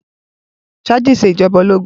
Chadii ń ṣe ìjọba ológun